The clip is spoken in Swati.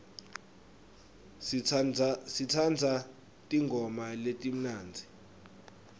sitsandza tingoma letimnandzi